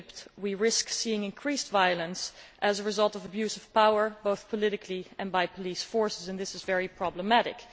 in Egypt we risk seeing increased violence as a result of abuse of power, both politically and by police forces, and this is very problematic.